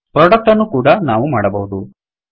product ಅನ್ನೂ ಕೂಡಾ ನಾವು ಮಾಡಬಹುದು